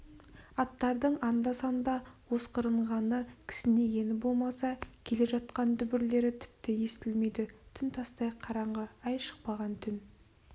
аттардың анда-санда осқырынғаны кісінегені болмаса келе жатқан дүбірлері тіпті естілмейді түн тастай қараңғы ай шықпаған түн